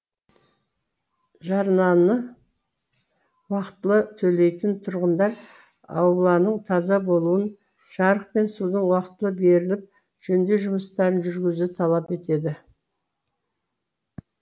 жарнаны уақытылы төлейтін тұрғындар ауланың таза болуын жарық пен судың уақытылы беріліп жөндеу жұмыстарын жүргізуді талап етеді